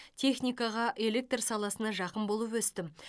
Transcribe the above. техникаға электр саласына жақын болып өстім